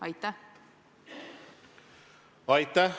Aitäh!